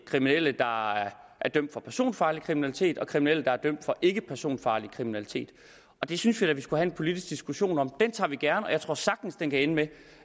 kriminelle der er dømt for personfarlig kriminalitet og kriminelle der er dømt for ikkepersonfarlig kriminalitet det synes vi da vi skulle have en politisk diskussion om den tager vi gerne og jeg tror den sagtens kan ende med